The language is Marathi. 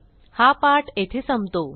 हा पाठ येथे संपतो